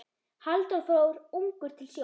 Halldór fór ungur til sjós.